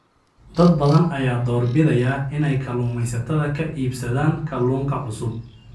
Dad badan ayaa doorbidaya inay kalluumaysatada ka iibsadaan kalluunka cusub.